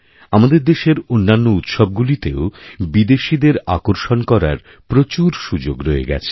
আমাদের দেশেরঅন্যান্য উৎসবগুলিতেও বিদেশিদের আকর্ষণ করার প্রচুর সুযোগ রয়ে গেছে